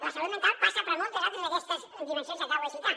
la salut mental passa per moltes altres d’aquestes dimensions que acabo de citar